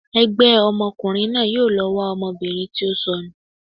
ẹgbẹ ọmọkùnrin náà yóò lọ wa ọmọbìnrin ti o sọnu